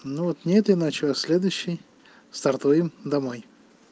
ну аот не этой ночью а следующей стартуем домой